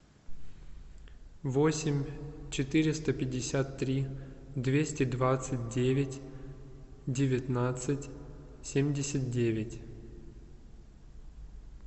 восемь четыреста пятьдесят три двести двадцать девять девятнадцать семьдесят девять